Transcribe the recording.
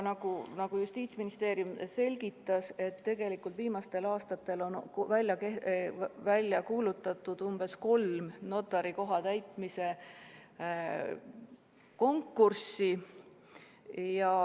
Aga Justiitsministeerium selgitas, et tegelikult on viimastel aastatel välja kuulutatud umbes kolm notarikoha täitmise konkurssi.